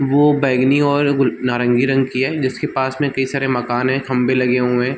वो बैगनी और गुल नारंगी रंग की हैं जिसके पास में कई सारे मकान हैं खम्बे लगे हुए हैं।